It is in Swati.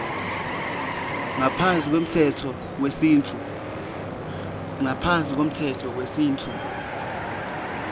ngaphasi kwemtsetfo wesintfu